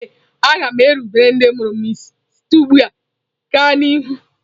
Ee a ga m erubere ndị mụrụ m isi site ugbu a gaa n'ihu.